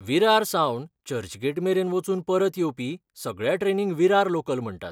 विरार सावन चर्चगेट मेरेन वचून परत येवपी सगळ्या ट्रेनींक विरार लोकल म्हणटात.